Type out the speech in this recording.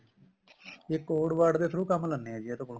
ਇਹ code word ਦੇ through ਕੰਮ ਲੈਂਦੇ ਨੇ ਇਹਦੇ ਕੋਲੋ